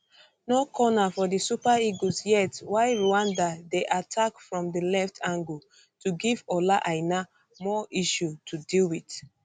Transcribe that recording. no corner for di super eagles yet while rwanda dey attack from di left angle to give ola aina more issue to deal wit